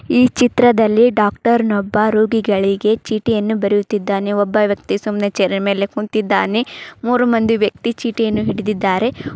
ಈ ಚಿತ್ರದಲ್ಲಿ ಡಾಕ್ಟರ್ ನೊಬ್ಬ ರೋಗಿಗಳಿಗೆ ಚೀಟಿಯನ್ನು ಬರೆಯುತಿದ್ದಾನೆ. ಒಬ್ಬ ವ್ಯಕ್ತಿ ಸುಮ್ನೆ ಚೇರ್ ಮೇಲೆ ಕುಂತಿದ್ದಾನೆ ಮೂರೂ ಮಂದಿ ವ್ಯಕ್ತಿ ಚೀಟಿಯನ್ನು ಹಿಡಿದಿದ್ದಾರೆ.